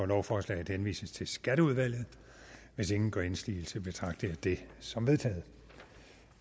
lovforslaget henvises til skatteudvalget hvis ingen gør indsigelse betragter jeg det som vedtaget